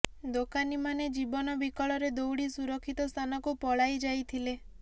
ଦୋକାନୀମାନେ ଜୀବନ ବିକଳରେ ଦୌଡ଼ି ସୁରକ୍ଷିତ ସ୍ଥାନକୁ ପଳାଇ ଯାଇଥିଲେ